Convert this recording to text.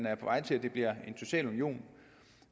er på vej til at det bliver en social union